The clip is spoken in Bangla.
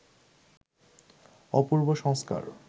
অপূর্ব সংস্কার